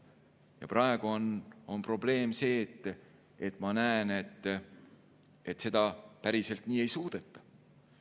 Praegu on probleem selles, ma näen, et seda päriselt ei suudeta.